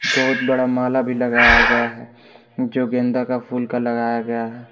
बहुत बड़ा माल भी लगाया गया है जो गेंदा का फूल का लगाया गया है।